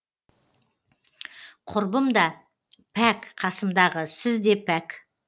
құрбым да пәк қасымдағы сіз де пәк